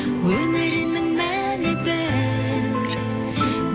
өмірінің мәні бір